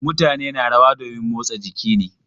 Mutane na rawa domin motsa jiki ne.